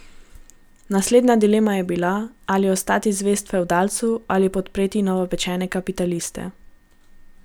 Naslednja dilema je bila, ali ostati zvest fevdalcu ali podpreti novopečene kapitaliste.